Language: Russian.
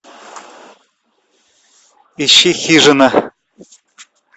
ищи хижина